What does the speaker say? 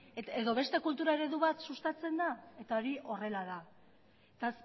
edo beste kultura eredu bat sustatzen da hori horrela da eta